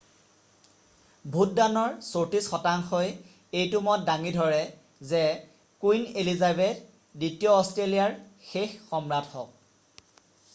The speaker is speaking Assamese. ভোটদানৰ 34 শতাংশই এইটো মত দাঙি ধৰে যে কুইন এলিজাবেথ দ্বিতীয় অষ্ট্ৰেলিয়াৰ শেষ সম্ৰাট হওক